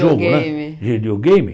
Jogo né Videogame Videogame.